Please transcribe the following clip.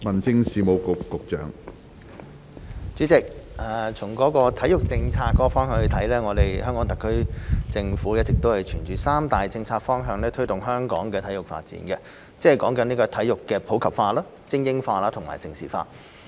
主席，從體育政策方面來說，香港特別行政區政府一直沿着三大策略方向推動香港的體育發展，即體育普及化、精英化、盛事化。